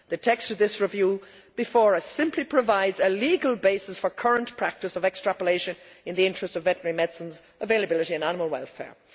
The text of this review before us simply provides a legal basis for the current practice of extrapolation in the interests of veterinary medicines availability and animal welfare.